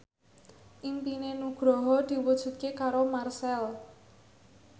impine Nugroho diwujudke karo Marchell